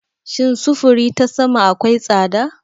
Shin sufuri ta sama akwai tsada?